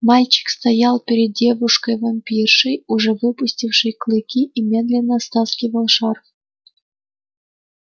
мальчик стоял перед девушкой-вампиршей уже выпустившей клыки и медленно стаскивал шарф